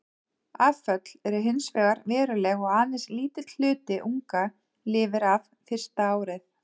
Afföll eru hins vegar veruleg og aðeins lítill hluti unga lifir af fyrsta árið.